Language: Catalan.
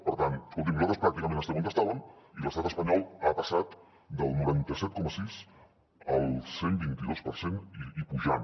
per tant escoltin nosaltres pràcticament estem on estàvem i l’estat espanyol ha passat del noranta set coma sis al cent i vint dos per cent i pujant